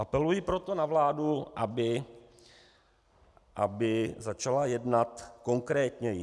Apeluji proto na vládu, aby začala jednat konkrétněji.